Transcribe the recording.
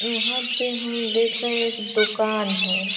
यहाँ पे हम देख रहें हैं एक दुकान है।